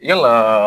Yala